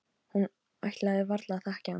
Hún ætlaði varla að þekkja hana.